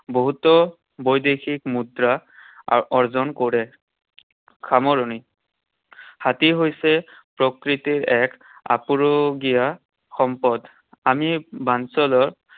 বহুতো বৈদেশিক মুদ্ৰা অৰ্জন কৰে। সামৰণি। হাতী হৈছে প্ৰকৃতিৰ এক আপুৰুগীয়া সম্পদ। আমি